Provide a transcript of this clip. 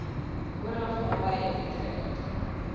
oorlog naby utrecht